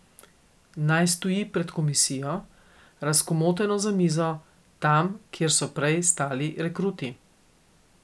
Naj stoji pred komisijo, razkomoteno za mizo, tam, kjer so prej stali rekruti.